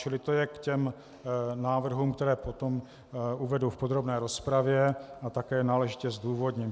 Čili to je k těm návrhům, které potom uvedu v podrobné rozpravě a také náležitě zdůvodním.